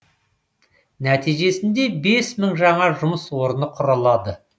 нәтижесінде бес мың жаңа жұмыс орны құрылады